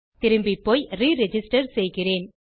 திரும்பிப்போய் re register செய்கிறேன்